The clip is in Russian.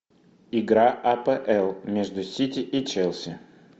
игра апл между сити и челси